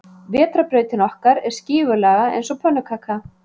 Vetrarbrautin okkar er skífulaga eins og pönnukaka.